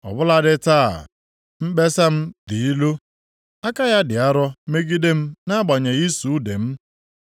“Ọ bụladị taa, mkpesa m dị ilu; aka ya dị arọ megide m nʼagbanyeghị ịsụ ude m.